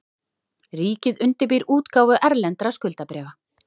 Ríkið undirbýr útgáfu erlendra skuldabréfa